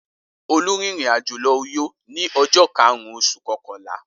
Olú rìnrìn-àjò lọ Uyo ní ọjọ́ karùn-ún oṣù kọkànlá.